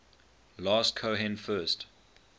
last cohen first